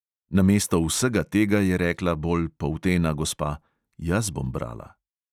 Namesto vsega tega je rekla bolj poltena gospa: "jaz bom brala."